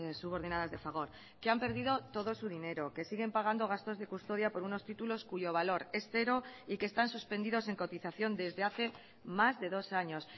subordinadas de fagor que han perdido todo su dinero que siguen pagando gastos de custodia por unos títulos cuyo valor es cero y que están suspendidos en cotización desde hace más de dos años